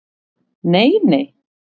Nei, nei?